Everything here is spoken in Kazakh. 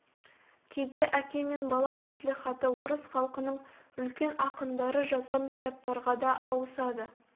кейде әке мен бала мәслихаты орыс халқының үлкен ақындары жазған кітаптарға да ауысады